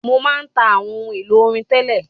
Mo má ń ta àwọn ohun èlò orin tẹ́lẹ̀.